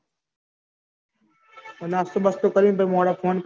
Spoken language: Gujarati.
નાસ્તો બાસ્તો કરીન પહી મોડા phone